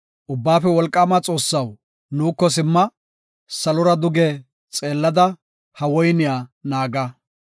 Ubbaafe Wolqaama Xoossaw nuuko simma; salora duge xeellada; ha woyniya naaga.